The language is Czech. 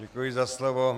Děkuji za slovo.